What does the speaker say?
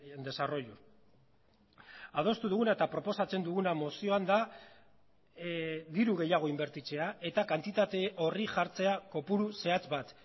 en desarrollo adostu duguna eta proposatzen duguna mozioan da diru gehiago inbertitzea eta kantitate horri jartzea kopuru zehatz bat